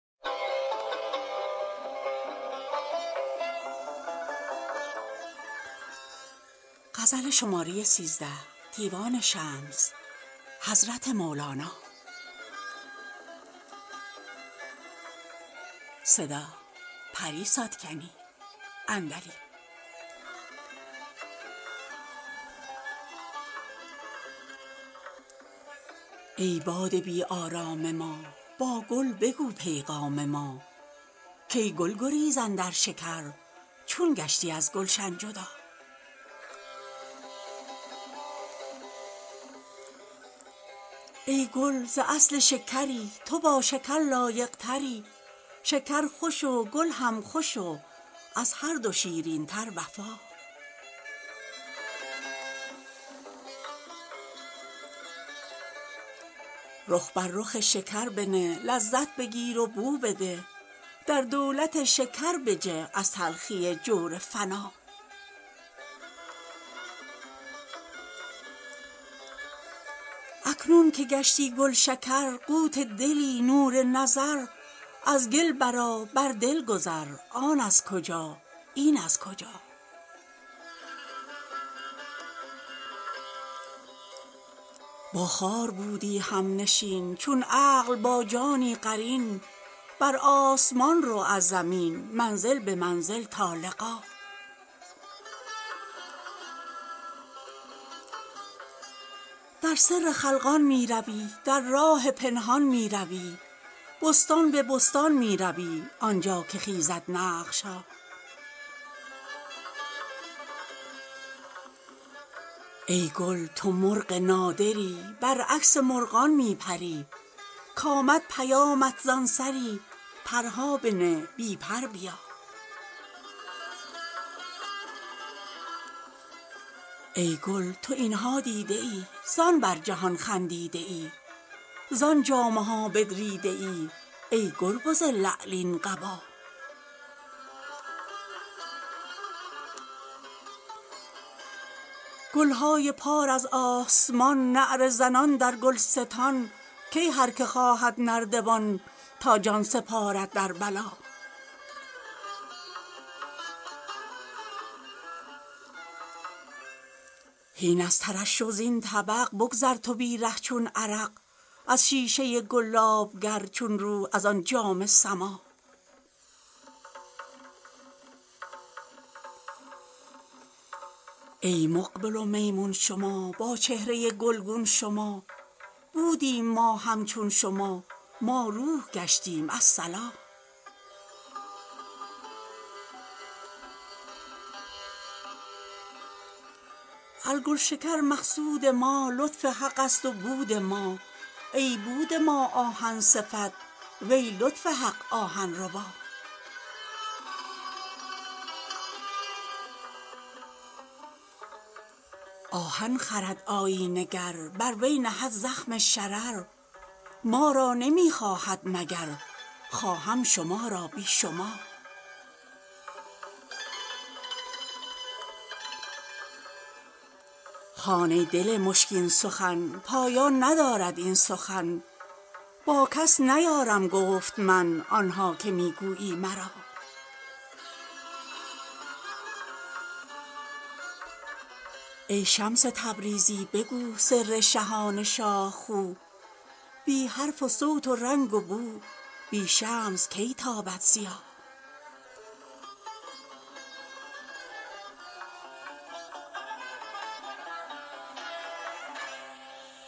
ای باد بی آرام ما با گل بگو پیغام ما کای گل گریز اندر شکر چون گشتی از گلشن جدا ای گل ز اصل شکری تو با شکر لایق تری شکر خوش و گل هم خوش و از هر دو شیرین تر وفا رخ بر رخ شکر بنه لذت بگیر و بو بده در دولت شکر بجه از تلخی جور فنا اکنون که گشتی گلشکر قوت دلی نور نظر از گل برآ بر دل گذر آن از کجا این از کجا با خار بودی همنشین چون عقل با جانی قرین بر آسمان رو از زمین منزل به منزل تا لقا در سر خلقان می روی در راه پنهان می روی بستان به بستان می روی آن جا که خیزد نقش ها ای گل تو مرغ نادری برعکس مرغان می پری کامد پیامت زان سری پرها بنه بی پر بیا ای گل تو این ها دیده ای زان بر جهان خندیده ای زان جامه ها بدریده ای ای کربز لعلین قبا گل های پار از آسمان نعره زنان در گلستان کای هر که خواهد نردبان تا جان سپارد در بلا هین از ترشح زین طبق بگذر تو بی ره چون عرق از شیشه گلاب گر چون روح از آن جام سما ای مقبل و میمون شما با چهره گلگون شما بودیم ما همچون شما ما روح گشتیم الصلا از گلشکر مقصود ما لطف حق ست و بود ما ای بود ما آهن صفت وی لطف حق آهن ربا آهن خرد آیینه گر بر وی نهد زخم شرر ما را نمی خواهد مگر خواهم شما را بی شما هان ای دل مشکین سخن پایان ندارد این سخن با کس نیارم گفت من آن ها که می گویی مرا ای شمس تبریزی بگو سر شهان شاه خو بی حرف و صوت و رنگ و بو بی شمس کی تابد ضیا